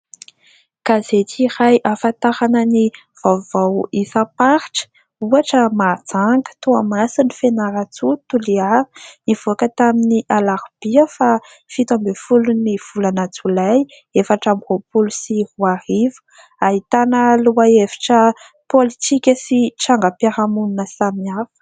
Gazety iray ahafantarana ny vaovao isamparitra ; ohatra Mahajanga, Toamasina, Fianarantsoa, Toliara. Nivoaka tamin'ny Alarobia faha-17n'ny volana Jolay 2024. Ahitana lohahevitra politika sy trangam-piarahamonina samihafa.